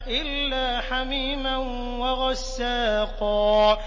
إِلَّا حَمِيمًا وَغَسَّاقًا